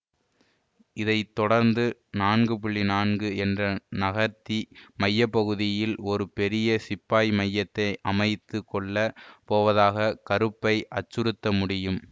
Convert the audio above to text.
இதை தொடர்ந்து நான்கு நான்கு என்று நகர்த்தி மைய பகுதியில் ஒரு பெரிய சிப்பாய் மையத்தை அமைத்து கொள்ள போவதாக கருப்பை அச்சுறுத்த முடியும்